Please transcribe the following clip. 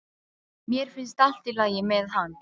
Mér finnst allt í lagi með hann.